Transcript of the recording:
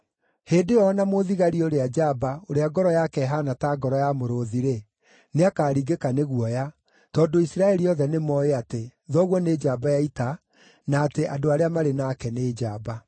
Hĩndĩ ĩyo o na mũthigari ũrĩa njamba, ũrĩa ngoro yake ĩhaana ta ngoro ya mũrũũthi-rĩ, nĩakaringĩka nĩ guoya, tondũ Isiraeli othe nĩmooĩ atĩ, thoguo nĩ njamba ya ita na atĩ andũ arĩa marĩ nake nĩ njamba.